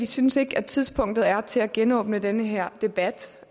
synes at tidspunktet er til at genåbne den her debat